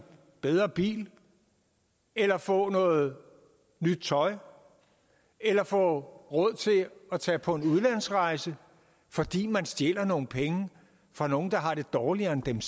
bedre bil eller få noget nyt tøj eller få råd til at tage på en udlandsrejse fordi man stjæler nogle penge fra nogle der har det dårligere end dem